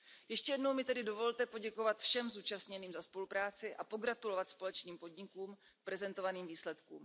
Ještě jednou mi tedy dovolte poděkovat všem zúčastněným za spolupráci a pogratulovat společným podnikům k prezentovaným výsledkům.